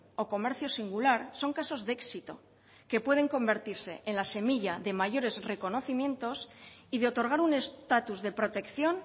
o comercio singular son casos de éxito que pueden convertirse en la semilla de mayores reconocimientos y de otorgar un estatus de protección